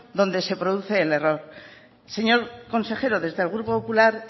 donde se produce el error señor consejero desde el grupo popular